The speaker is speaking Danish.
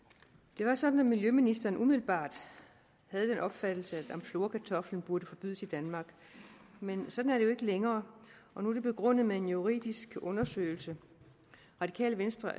det var sådan at miljøministeren umiddelbart havde den opfattelse at amflorakartoflen burde forbydes i danmark men sådan er det jo ikke længere og nu er det begrundet med en juridisk undersøgelse radikale venstre